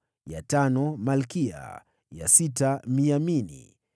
ya tano Malkiya, ya sita Miyamini,